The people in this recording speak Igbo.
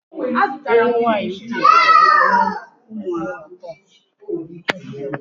Ewu Nwaanyị Uke mụrụ ụmụ atọ.